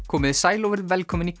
komiði sæl og verið velkomin í